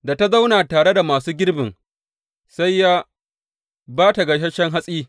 Da ta zauna tare da masu girbin, sai ya ba ta gasasshe hatsi.